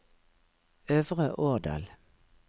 Øvre Årdal